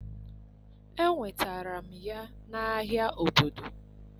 Enwetara m ya n'ahịa obodo.